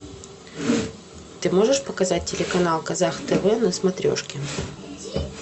ты можешь показать телеканал казах тв на смотрешке